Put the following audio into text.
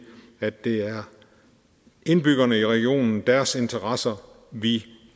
at det er indbyggerne i regionen og deres interesser vi